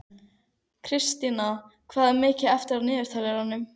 Kristína, hvað er mikið eftir af niðurteljaranum?